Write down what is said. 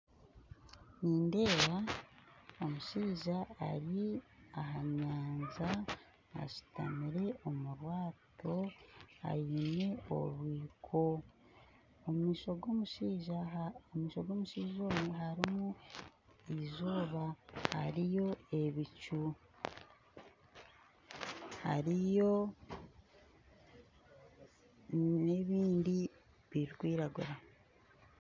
Nindeeba omushaija ari aha nyanja ashuutamire omu bwato aine orwiko omu maisho g'omushaija ogwe hariyo eizooba hariyo ebicu hariyo n'ebindi birikwiragura